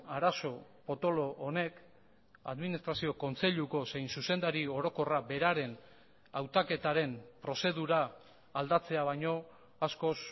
arazo potolo honek administrazio kontseiluko zein zuzendari orokorra beraren hautaketaren prozedura aldatzea baino askoz